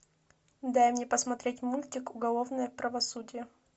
дай мне посмотреть мультик уголовное правосудие